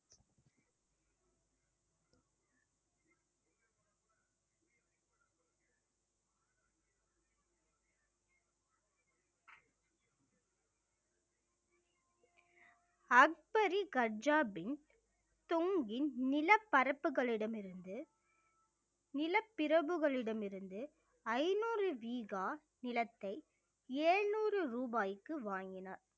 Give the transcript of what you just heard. அக்பரி கஜாபின் தொங்கின் நிலப்பரப்புகளிடமிருந்து நிலப்பிரபுகளிடம் இருந்து ஐநூறு வீகா நிலத்தை எழுநூறு ரூபாய்க்கு வாங்கினார்